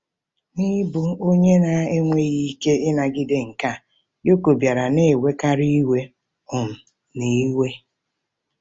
N'ịbụ onye na-enweghị ike ịnagide nke a, Yoko bịara na-ewekarị iwe um na iwe..